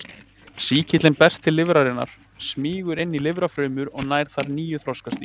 Sýkillinn berst til lifrarinnar, smýgur inn í lifrarfrumurnar og nær þar nýju þroskastigi.